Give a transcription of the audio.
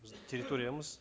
біздің территориямыз